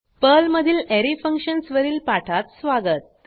पर्लमधील अरे फंक्शन्स वरील पाठात स्वागत